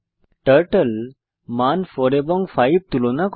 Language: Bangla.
টার্টল মান 4 এবং 5 তুলনা করে